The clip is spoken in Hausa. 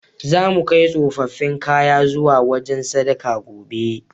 Zamu kai tsofaffin kayan zuwa wajen sadaka, gobe.